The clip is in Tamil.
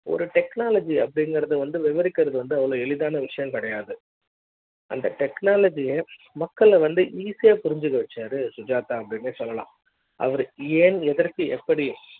ஒரு technology அப்டிங்கறது வந்து விவரிக்கிறது வந்து அவ்வளவு எளிதான விஷயம் கிடையாது அந்த technology மக்கள் வந்து easy யா புரிஞ்சி க்க வச்சாரு சுஜாதா அப்டின்னு சொல்லலாம் அவர் ஏன் எதற்கு எப்படி